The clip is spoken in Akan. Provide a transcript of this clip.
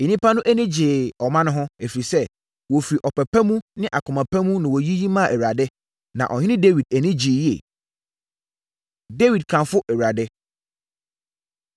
Nnipa no ani gyee ɔma no ho, ɛfiri sɛ, wɔfiri ɔpɛ pa ne akoma pa mu na wɔyiyi maa Awurade, na Ɔhene Dawid ani gyee yie. Dawid Kamfo Awurade